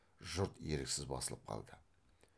жұрт еріксіз басылып қалды